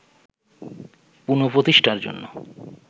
পুন:প্রতিষ্ঠার জন্য